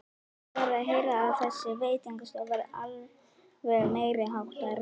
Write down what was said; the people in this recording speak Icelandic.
Ég var að heyra að þessi veitingastaður væri alveg meiriháttar!